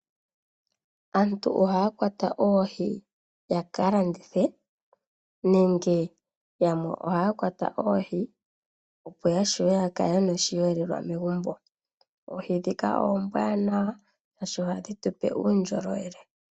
Aantu ohaakwqta oohi ya ka landithe nenge yamwe ohaa kwata oohi opo ashiwe ya kale yena oshiyelelwa ngaashi oohi dhika oombwanawa shaashi ohadhi tupe uundjolowele